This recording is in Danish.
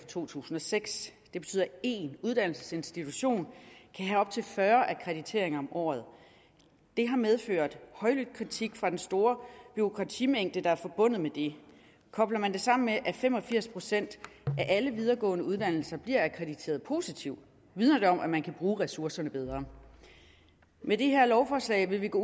to tusind og seks det betyder at en uddannelsesinstitution kan have op til fyrre akkrediteringer om året det har medført højlydt kritik for den store bureaukratimængde der er forbundet med det kobler man det sammen med at fem og firs procent af alle videregående uddannelser bliver akkrediteret positivt vidner det om at man kan bruge ressourcerne bedre med det her lovforslag vil vi gå